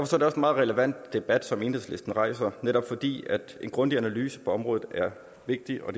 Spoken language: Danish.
meget relevant debat enhedslisten rejser netop fordi en grundig analyse på området er vigtig og